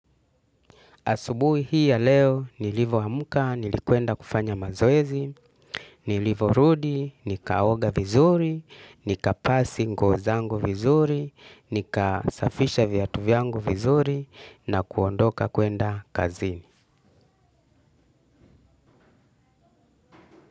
Asubui hii ya leo, nilivo amuka, nilikuenda kufanya mazoezi, nilivorudi, nikaoga vizuri, nika pasi nguo zangu vizuri, nika safisha viatu vyangu vizuri, na kuondoka kwenda kazini.